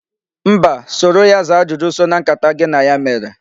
Mba, soro ya zaa ajụjụ so na nkata gị na ya mere.